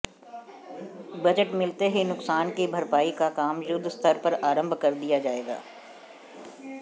budget मिलते ही नुकसान की भरपाई का काम युद्धस्तर पर आरंभ कर दिया जाएगा